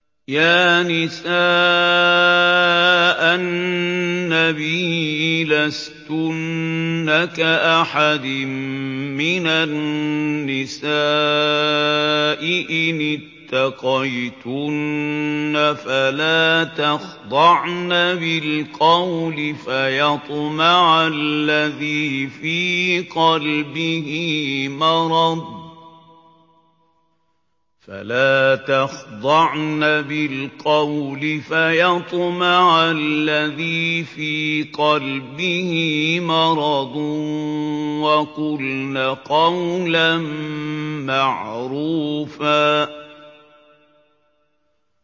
يَا نِسَاءَ النَّبِيِّ لَسْتُنَّ كَأَحَدٍ مِّنَ النِّسَاءِ ۚ إِنِ اتَّقَيْتُنَّ فَلَا تَخْضَعْنَ بِالْقَوْلِ فَيَطْمَعَ الَّذِي فِي قَلْبِهِ مَرَضٌ وَقُلْنَ قَوْلًا مَّعْرُوفًا